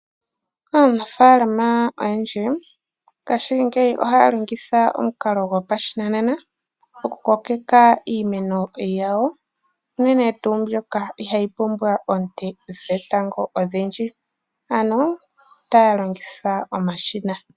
Aanafaalama oyendji ngaashingeyi ohaa longitha omukalo gopashinanena oku kokeka iimeno yawo unene tuu mbyoka ihaayi pumbwa oonte dhetango odhindji ano taya longitha omashina.